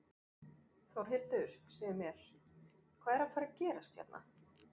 Þórhildur, segðu mér, hvað er að fara gerast hérna?